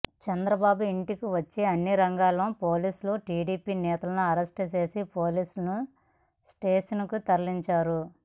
చంద్రబాబు ఇంటికి వచ్చే అన్ని మార్గాల్లో పోలీసులు టీడీపీ నేతలను అరెస్ట్ చేసి పోలీస్ స్టేషన్కు తరలిస్తున్నారు